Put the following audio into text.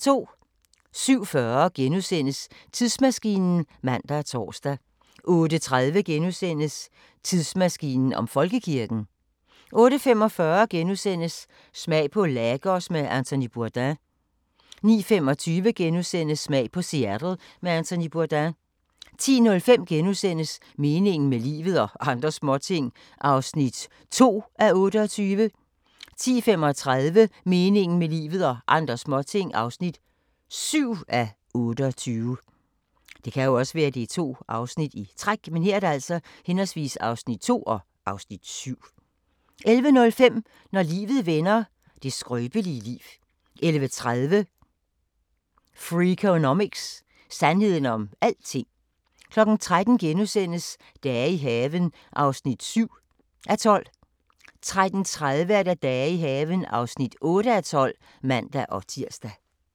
07:40: Tidsmaskinen *(man og tor) 08:30: Tidsmaskinen om Folkekirken * 08:45: Smag på Lagos med Anthony Bourdain * 09:25: Smag på Seattle med Anthony Bourdain * 10:05: Meningen med livet – og andre småting (2:28)* 10:35: Meningen med livet – og andre småting (7:28) 11:05: Når livet vender – det skrøbelige liv 11:30: Freakonomics – sandheden om alting 13:00: Dage i haven (7:12)* 13:30: Dage i haven (8:12)(man-tir)